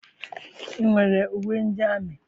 I nwere uwe ndị amị?